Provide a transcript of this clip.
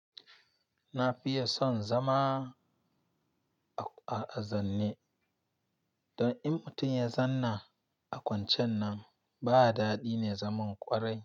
Na fiye son zama a, a, a zanne. Don in mutum ya zanna a kwancen nan ba dadi ne zaman ƙwarai.